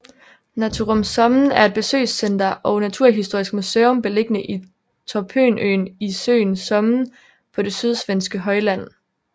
Naturum Sommen er et besøgscenter og naturhistorisk museum beliggende i Torpönøen i søen Sommen på det sydsvenske højland